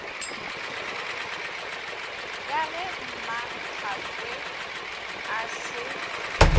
ya ge mmaphakwe a se